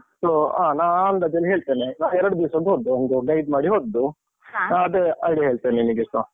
So ಹ. ನಾ ಆ ಅಂದಾಜಲ್ಲಿ ಹೇಳ್ತೇನೆ ಎರಡು ದಿವ್ಸದ್ ಹೋದ್ದು, ಒಂದು guide ಮಾಡಿ ಹೋದ್ದು. ಅದೇ idea ಹೇಳ್ತೇನ್ ನಿಮಗೆ ಸಹ.